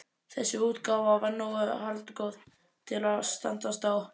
Þessi útgáfa var nógu haldgóð til að standast þá